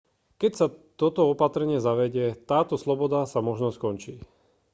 keď sa toto opatrenie zavedie táto sloboda sa možno skončí